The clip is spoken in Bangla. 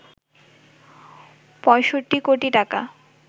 ৬৫ কোটি টাকা